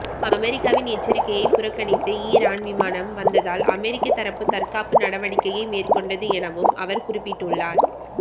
அமெரிக்காவின் எச்சரிக்கையை புறக்கணித்து ஈரான் விமானம் வந்ததால் அமெரிக்க தரப்பு தற்காப்பு நடவடிக்கையை மேற்கொண்டது எனவும் அவர் குறிப்பிட்டள்ளார்